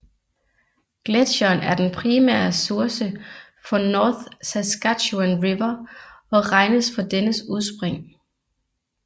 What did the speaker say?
Gletsjeren er den primære source for North Saskatchewan River og regnes for dennes udspring